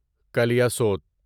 کلیاسوت